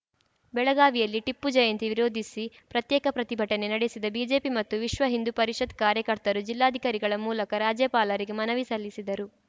ಬೆಳಗಾವಿಯಲ್ಲಿ ಟಿಪ್ಪು ಜಯಂತಿ ವಿರೋಧಿಸಿ ಪ್ರತ್ಯೇಕ ಪ್ರತಿಭಟನೆ ನಡೆಸಿದ ಬಿಜೆಪಿ ಮತ್ತು ವಿಶ್ವ ಹಿಂದೂ ಪರಿಷತ್‌ ಕಾರ್ಯಕರ್ತರು ಜಿಲ್ಲಾಧಿಕಾರಿಗಳ ಮೂಲಕ ರಾಜ್ಯಪಾಲರಿಗೆ ಮನವಿ ಸಲ್ಲಿಸಿದರು